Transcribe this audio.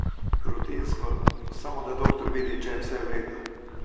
Rutinsko, samo da doktor vidi, če je vse v redu.